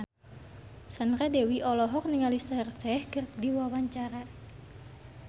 Sandra Dewi olohok ningali Shaheer Sheikh keur diwawancara